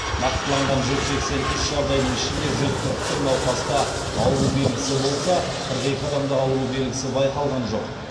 нақтыланған жүз сексен үш жағдайдың ішінде жүз қырық бір науқаста ауру белгісі болса қырық екі адамда ауру белгісі байқалған жоқ